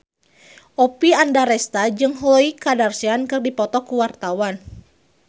Oppie Andaresta jeung Khloe Kardashian keur dipoto ku wartawan